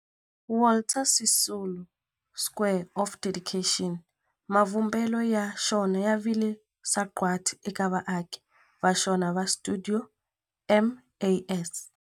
Walter Sisulu Square of Dedication, mavumbelo ya xona ya vile sagwadi eka vaaki va xona va stuidio MAS.